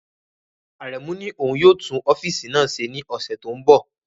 Aremu ní òun yóò tún ọ́fíìsì náà ṣe ní ọ̀sẹ̀ tó ń bọ̀.